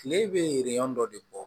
Kile bɛ dɔ de bɔ